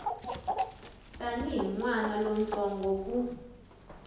tanihi n wana lontsongo ku